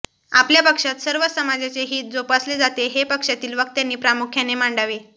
आपल्या पक्षात सर्वच समाजाचे हित जोपासले जाते हे पक्षातील वक्त्यांनी प्रामुख्याने मांडावे